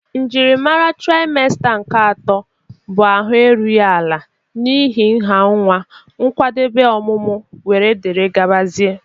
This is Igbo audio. Njiri mara traịmsta nke atọ bụ ahụ erughị ala n'ihi nha nwa, nkwadebe ọmụmụ wdg.